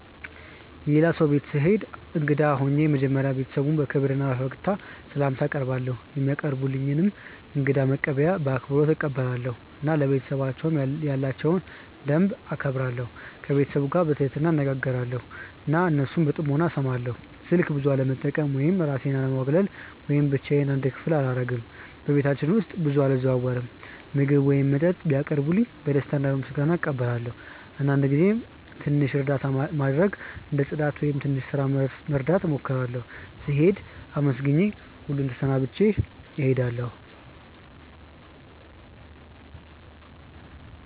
የሌላ ሰው ቤት ስሄድ እንግዳ ሆኜ መጀመሪያ ቤተሰቡን በክብር እና በፈገግታ ስላምታ አቀርባለው፧ የሚያቀርቡልኝን እንግዳ መቀበያ በአክብሮት እቀበላለሁ እና ለቤተሰባቸው ያላቸውን ደንብ እከብራለሁ። ከቤተሰቡ ጋር በትህትና እነጋገራለው እና እነሱን በጥሞና እስማለው። ስልክ ብዙ አለመጠቀም ወይም እራሴን አለማግለል ወይም ብቻዮን አንድ ክፍል አላረግም በቤታቸው ውስጥ ብዙ አልዘዋወርም። ምግብ ወይም መጠጥ ሲያቀርቡልኝ በደስታ እና በምስጋና እቀበላለው አንዳንድ ጊዜም ትንሽ እርዳታ ማድረግ እንደ ጽዳት ወይም ትንሽ ስራ መርዳት እሞክራለሁ። ስሄድም አመስግኜ ሁሉን ተሰናብቼ እሄዳለሁ።